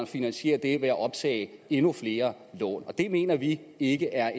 finansiere den ved at optage endnu flere lån det mener vi ikke er